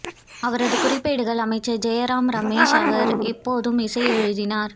அவரது குறிப்பேடுகள் அமைச்சர் ஜெய்ராம் ரமேஷ் அவர் எப்போதும் இசை எழுதினார்